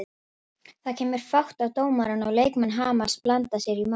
Það kemur fát á dómarann og leikmenn Hamars blanda sér í málið.